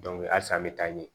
halisa an bɛ taa ɲɛ